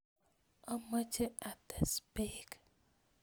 Omoche ates beek